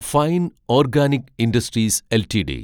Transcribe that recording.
fine organic industries LTD